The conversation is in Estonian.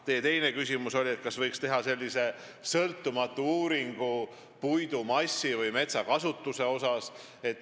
Teie teine küsimus oli, kas võiks teha sõltumatu uuringu puidumassi või metsakasutuse kohta.